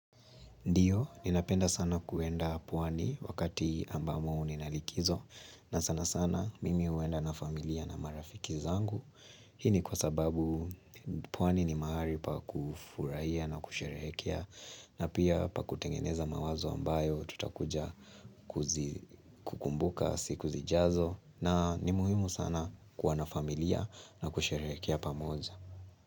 Ndio, ninapenda sana kuenda pwani wakati ambamo mnalikizo na sana sana mimi huenda na familia na marafiki zangu. Hii ni wa sababu pwani ni mahali pa kufurahia na kusherehekia na pia pa kutengeneza mawazo ambayo tutakuja kuzi kukumbuka siku zijazo na ni muhimu sana kuwana familia na kusherehekea pamoja.